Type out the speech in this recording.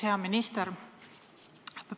Hea minister!